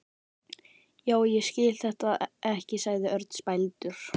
Já, ég skil þetta ekki sagði Örn spældur.